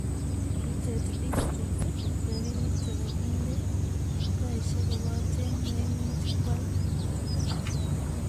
Kitet district rapinik chepo kindee taishek kopaten maimuch kyal